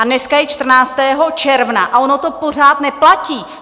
A dneska je 14. června a ono to pořád neplatí!